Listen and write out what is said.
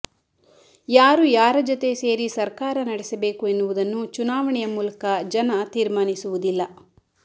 ಯಾರು ಯಾರ ಜತೆ ಸೇರಿ ಸರ್ಕಾರ ನಡೆಸಬೇಕು ಎನ್ನುವುದನ್ನು ಚುನಾವಣೆಯ ಮೂಲಕ ಜನ ತೀರ್ಮಾನಿಸುವುದಿಲ್ಲ